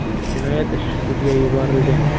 Jinoyat ishi sudga yuborilgan.